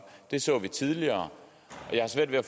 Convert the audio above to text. det så vi tidligere og jeg har svært ved at